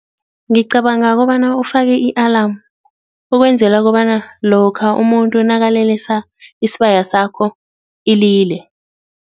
Ngicabanga kobana ufake i-alamu ukwenzela kobana lokha umuntu nakalelesa isibaya sakho ilile.